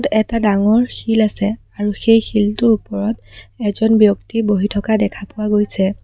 এটা ডাঙৰ শিল আছে আৰু সেই শিলটোৰ ওপৰত এজন ব্যক্তি বহি থকা দেখা পোৱা গৈছে।